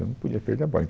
Eu não podia perder a bola.